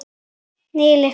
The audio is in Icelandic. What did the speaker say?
Níu lyklar.